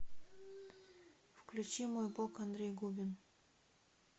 включи мой бог андрей губин